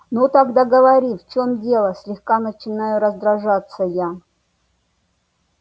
ну тогда говори в чем дело слегка начинаю раздражаться я